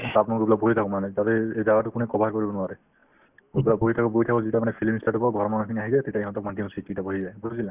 তাত মই ধৰি লওক বহি থাকো মানে যাতে এই~ এই জাগাতো কোনেও cover কৰিব নোৱাৰে এতিয়া বহি থাকো বহি থাকো যেতিয়া মানে film ই start হ'ব ঘৰৰ মানুহখিনি আহি যায় তেতিয়া ইহঁতক মাতি আহো seat কেইটাত বহি যায়